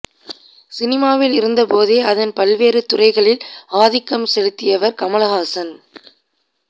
சினிமாவில் இருந்தபோதே அதன் பல்வேறு துறைகளில் ஆதிக்கம் செலுத்தியவர் கமல்ஹாசன்